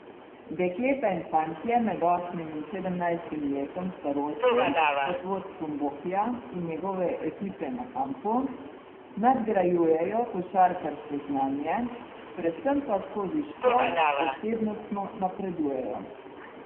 Dekleta in fantje med osmim in sedemnajstim letom starosti pod vodstvom Bokija in njegove ekipe na kampu nadgrajujejo košarkarsko znanje, predvsem pa skozi šport osebnostno napredujejo.